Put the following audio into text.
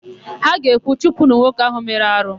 Ha ga-ekwu, "chụpụnụ nwoke áhụ̀ mere arụ"!